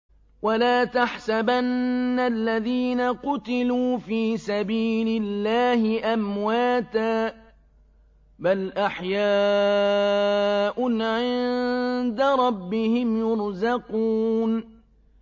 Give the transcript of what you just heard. وَلَا تَحْسَبَنَّ الَّذِينَ قُتِلُوا فِي سَبِيلِ اللَّهِ أَمْوَاتًا ۚ بَلْ أَحْيَاءٌ عِندَ رَبِّهِمْ يُرْزَقُونَ